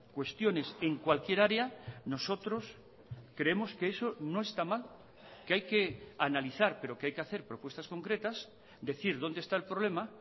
cuestiones en cualquier área nosotros creemos que eso no esta mal que hay que analizar pero que hay que hacer propuestas concretas decir dónde está el problema